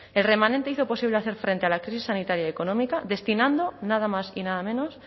el remanente hizo posible hacer frente a la crisis sanitaria y económica destinando nada más y nada menos